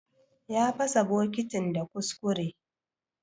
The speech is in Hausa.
Ya pasa bokitin da kuskure.